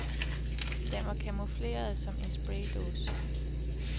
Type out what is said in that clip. Den var camoufleret som en spraydåse.